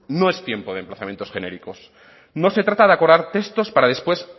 no es tiempo de emplazamientos genéricos no se trata de acordar textos para después